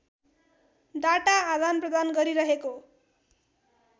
data आदानप्रदान गरिरहेको